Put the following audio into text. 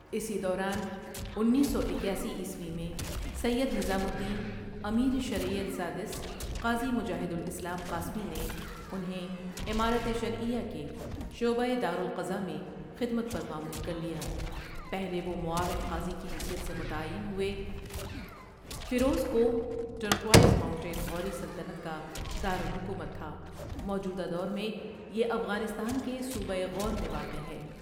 اسی دوران اُنیس سواکیاسی عیسوی میں سید نظام الدین امیر شریعت سادسؒ، قاضی مجاہد الاسلام قاسمی نے انہیں امارت شرعیہ کے شعبہ دار القضاء میں خدمت پر مامور کر لیا، پہلے وہ معاون قاضی کی حیثیت سے متعین ہوئے، فیروزکوہ تُرقوایزماونتین غوری سلطنت کا دار الحکومت تھا موجودہ دور میں یہ افغانستان کے صوبہ غور میں واقع ہے۔